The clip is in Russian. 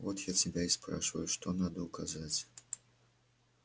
вот я тебя и спрашиваю что надо указать